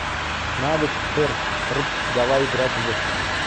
навык прпрп давай играть в